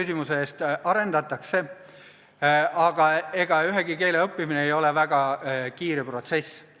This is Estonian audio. Jah, seda arendatakse, aga ega ühegi keele õppimine ei ole väga kiire protsess.